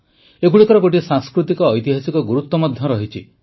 ଏଗୁଡ଼ିକର ଗୋଟିଏ ସାଂସ୍କୃତିକ ଐତିହାସିକ ଗୁରୁତ୍ୱ ମଧ୍ୟ ରହିଛି